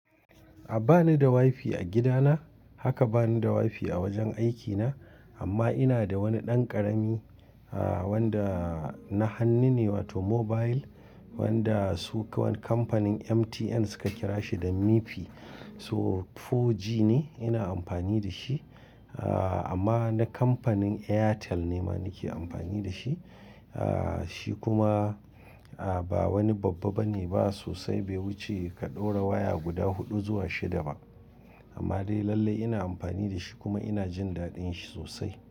A'a bani da wifi a gidana. Haka bani da wifi a wajen aikina. Amma ina da wani ɗan ƙarami, ah wanda na hannu ne, wato mobile wanda su kamfanin MTN suka kira shi da mifi. So 4G ne ina amfani da shi. Ah amma na kamfanin Airtel ne ma nake amfani da shi. Ah shi kuma ba wani babba bane ba sosai. Bai wuce ka ɗora waya guda huɗu zuwa shida ba. Amma dai lallai ina amfani da shi kuma ina jin daɗin shi sosai.